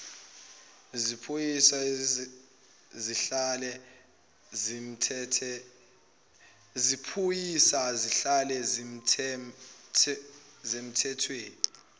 zephoyisa zihlale zisemthethweni